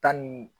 Tan ni